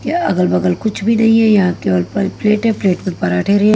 यह अगल-बगल कुछ भी नहीं है यहाँ केवल प प्लेट है प्लेट में पराठे रहे--